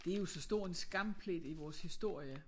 Det jo så stor en skamplet i vores historie